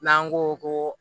N'an ko ko